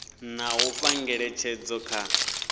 na u fha ngeletshedzo kha